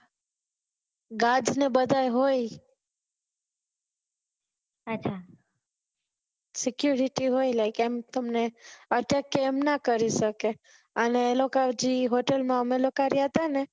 guards ને એ બધા હોય security હોય like એમ તમને attack કે એમ ના કરી સકે અને એ લોકો hotel અમે લોકો રહ્યા થે ને